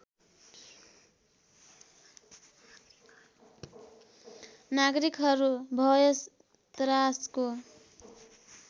नागरिकहरू भय त्रासको